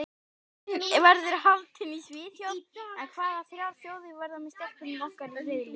Keppnin verður haldin í Svíþjóð en hvaða þrjár þjóðir verða með stelpunum okkar í riðli?